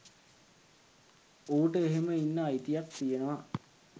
ඌට එහෙම ඉන්න අයිතියක් තියෙනවා